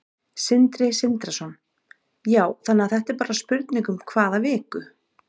Sindri Sindrason: Já, þannig að þetta er bara spurning um hvað viku?